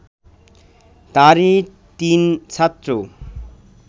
তারই তিন ছাত্র